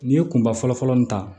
N'i ye kunba fɔlɔfɔlɔ min ta